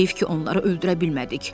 Heyf ki, onları öldürə bilmədik.